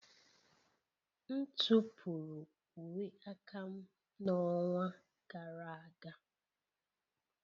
M tụpụrụ uwe aka m n'ọnwa gara aga.